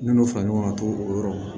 N'olu fara ɲɔgɔn kan ka to o yɔrɔ ma